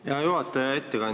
Aitäh, hea juhataja!